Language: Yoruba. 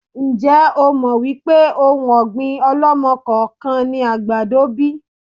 Ń jẹ́ ó mọ wípé òun ọ̀gbín ọ̀lọ́mọ-kọọ-kan ni àgbàdo bíi?